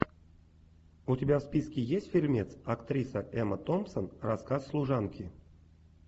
у тебя в списке есть фильмец актриса эмма томпсон рассказ служанки